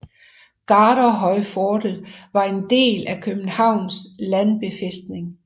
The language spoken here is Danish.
Garderhøjfortet var en del af Københavns Landbefæstning